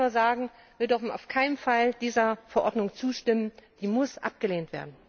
Ich kann nur sagen, wir dürfen auf keinen Fall dieser Verordnung zustimmen, sie muss abgelehnt werden!